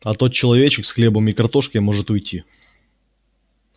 а тот человечек с хлебом и картошкой может уйти